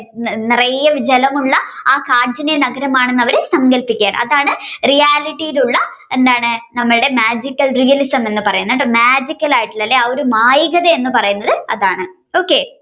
നിറയെ ജലമുള്ള ആ കാഞ്ചന നഗരമാണെന്ന് അവർ സങ്കല്പിക്കുകയാണ്. അതാണ് reality ഉള്ള എന്താണ് നമ്മളുടെ Magical realism എന്ന് പറയുന്ന magical ആയിട്ടുള്ള അല്ലെ ആ ഒരു മായികതാ എന്ന് പറയുന്നത് അതാണ്